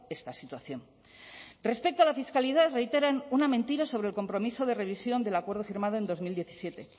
esta situación respecto a la fiscalidad reiteran una mentira sobre el compromiso de revisión del acuerdo firmado en dos mil diecisiete